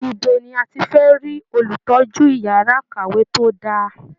Ibo ni a ti fẹ́ rí Olùtọ́jú yàrá ìkàwé tó dá a?